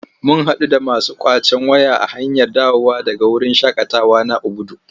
Mun haɗu da masu ƙwacen waya a hanyar dawowa daga wurin shaƙatawa na Obudu.